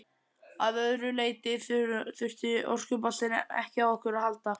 Að öðru leyti þurfti orkuboltinn ekki á okkur að halda.